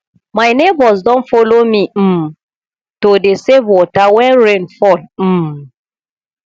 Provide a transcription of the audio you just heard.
my neighbours don follow me um to dey save water wen rain fall um